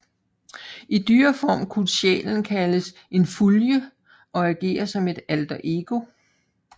I dyreform kunne sjælen kaldes en fylgje og agere som et alterego